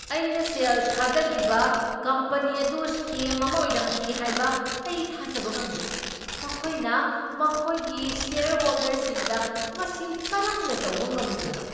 ꯑꯩꯅ ꯁꯦꯜ ꯊꯥꯗꯈꯤꯕ ꯀꯝꯄꯅꯤ ꯑꯗꯨ ꯁ꯭ꯀꯦꯝ ꯑꯃ ꯑꯣꯏꯔꯝꯈꯤ ꯍꯥꯏꯕ ꯑꯩ ꯊꯥꯖꯕ ꯉꯝꯗꯦ꯫ ꯃꯈꯣꯏꯅ ꯃꯈꯣꯏꯒꯤ ꯁꯦꯌꯔꯍꯣꯜꯗꯔꯁꯤꯡꯗ ꯃꯁꯤ ꯀꯔꯝꯅ ꯇꯧꯕ ꯉꯝꯂꯤꯕꯅꯣ?